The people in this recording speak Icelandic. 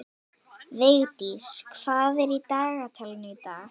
Vigdís, hvað er í dagatalinu í dag?